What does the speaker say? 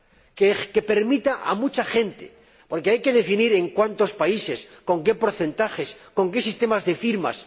que se lo permita a mucha gente, porque hay que definir en cuántos países, con qué porcentajes, con qué sistemas de firmas.